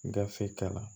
Gafe ta la